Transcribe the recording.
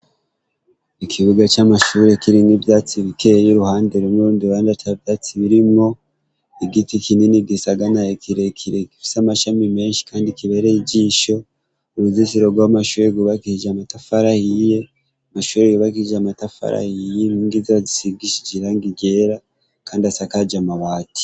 Ikibuga c'amashuri kiri ng'ivyatsi bikeye y'uruhande rumwe urundi randa ca vyatsi birimwo igiti kinini gisaganayo kirekirekifisa amashami menshi, kandi kibereye j'isho uruzisirorwa w'amashuri wubakishija amatafarah iye amashuri wubakishije amatafarahi iye rngeizira zisigishije iranga rera ndasakaja amawati.